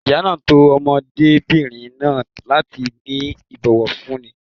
Ìyá náà tọ́ ọmọdébìnrin náà láti ní ìbòwọ̀fúní.